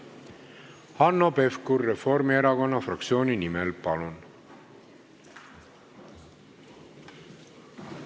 Hanno Pevkur Reformierakonna fraktsiooni nimel, palun!